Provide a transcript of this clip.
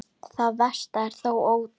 Það versta er þó ótalið.